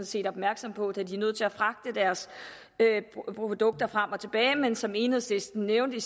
set opmærksom på da de er nødt til at fragte deres produkter frem og tilbage men som enhedslisten nævnte i